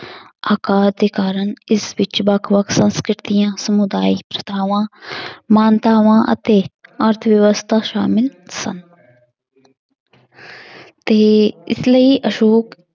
ਆਕਾਰ ਦੇ ਕਾਰਨ ਇਸ ਵਿੱਚ ਵੱਖ ਵੱਖ ਸੰਸਕ੍ਰਿਤੀਆਂ ਸਮੁਦਾਇ ਮਾਨਤਾਵਾਂ ਅਤੇ ਅਰਥਵਿਵਸਥਾ ਸਾਮਲ ਸਨ ਤੇ ਇਸ ਲਈ ਅਸ਼ੌਕ